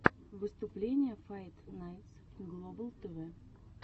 выступление файт найтс глобал тв